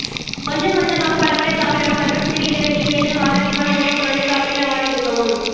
கொஞ்சம் கொஞ்சமாக பலமுறை சாப்பிடவும் மற்றும் சிறு இடைவெளியில் ஏதேனும் ஆரோக்கியமான உணவுப் பொருளை சாப்பிட்டவாறு இருக்கவும்